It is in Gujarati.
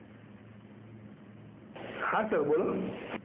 હાં સર બોલો.